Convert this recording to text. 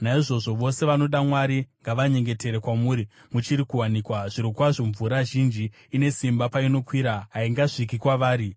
Naizvozvo vose vanoda Mwari ngavanyengetere kwamuri muchiri kuwanikwa; zvirokwazvo mvura zhinji ine simba painokwira, haingasviki kwavari.